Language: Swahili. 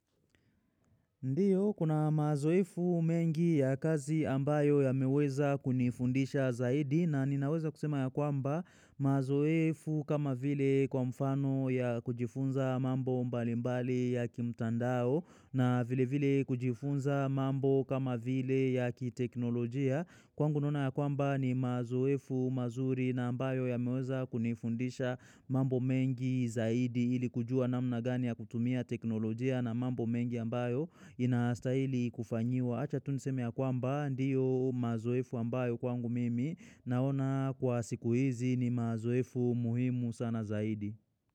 Ndiyo, kuna mazoefu mengi ya kazi ambayo ya meweza kunifundisha zaidi na ninaweza kusema ya kwamba mazoefu kama vile kwa mfano ya kujifunza mambo mbalimbali ya kimtandao na vile vile kujifunza mambo kama vile ya kiteknolojia. Kwangu naona ya kwamba ni mazoefu mazuri na ambayo ya meweza kunifundisha mambo mengi zaidi ili kujua namna gani ya kutumia teknolojia na mambo mengi ambayo inaastaili kufanyiwa. Acha tuniseme ya kwamba ndiyo mazoefu ambayo kwangu mimi naona kwa siku hizi ni mazoefu muhimu sana zaidi.